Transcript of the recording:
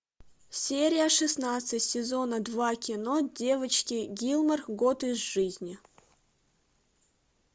серия шестнадцать сезона два кино девочки гилмор год из жизни